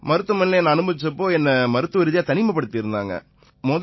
மருத்துவமனையில என்னை அனுமதிச்ச போது என்னை மருத்துவரீதியா தனிமைப்படுத்தி இருந்தாங்க